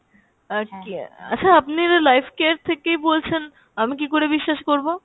আহ কিয়া~ হ্যাঁ আপনি এটা lifecare থেকেই বলছেন আমি কী করে বিশ্বাস করবো?